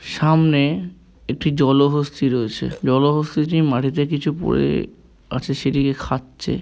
সামনে একটি জলহস্তী রয়েছে জলহস্তীটি মাটিতে কিছু পড়ে আছে সেটিকে খাচ্ছে।